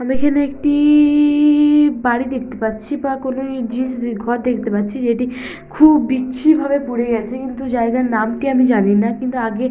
আমি এখানে একটি-ই-ই-ই বাড়ি দেখতে পাচ্ছি বা কোন আ জিনিস দে ঘর দেখতে পাচ্ছি যেটি খুব বিচ্ছিরি ভাবে পুড়ে গেছে কিন্তু জায়গার নামটি আমি জানি না। কিন্তু আগে--